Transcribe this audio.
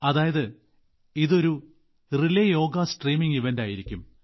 അതായത് ഇത് ഒരു റിലേ യോഗ സ്ട്രീമിംഗ് ഇവന്റ് ആയിരിക്കും